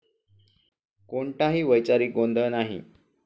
कोणताही वैचारिक गोंधळ नाही.